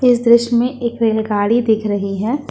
इस दृश्य में एक रेलगाड़ी दिख रही है।